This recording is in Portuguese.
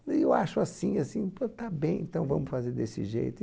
E eu acho assim, assim, então tá bem, então vamos fazer desse jeito.